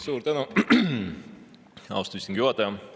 Suur tänu, austatud istungi juhataja!